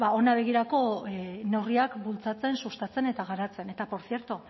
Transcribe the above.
begirako neurriak bultzatzen sustatzen eta garatzen eta por cierto